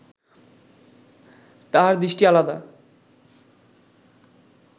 তাঁহার দৃষ্টি আলাদা